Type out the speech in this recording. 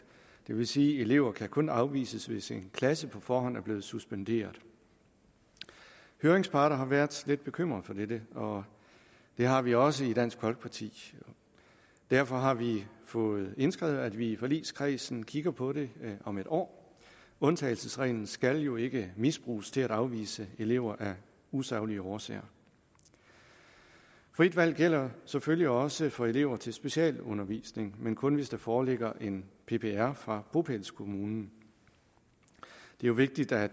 det vil sige at elever kan kun afvises hvis en klasse på forhånd er blevet suspenderet høringsparter har været lidt bekymret for dette og det har vi også været i dansk folkeparti derfor har vi fået indskrevet at vi i forligskredsen kigger på det om et år undtagelsesreglen skal jo ikke misbruges til at afvise elever af usaglige årsager frit valg gælder selvfølgelig også for elever til specialundervisning men kun hvis der foreligger en ppr fra bopælskommunen det er vigtigt at